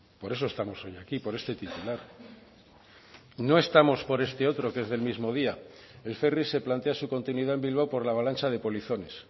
por eso estamos hoy aquí por este titular no estamos por este otro que es del mismo día el ferri se plantea su continuidad en bilbao por la avalancha de polizones